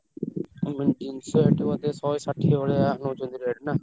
ଜିନିଷ ଏଠି ବୋଧେ ଶହେ ଷାଠିଏ ଭଳିଆ ନଉଛନ୍ତି rate ନାଁ।